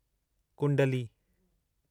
कुंडली